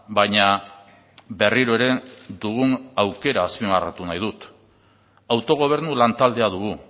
baina berriro ere dugun aukera azpimarratu nahi dut autogobernu lantaldea dugu